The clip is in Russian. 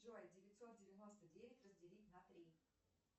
джой девятьсот девяносто девять разделить на три